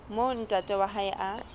moo ntate wa hae a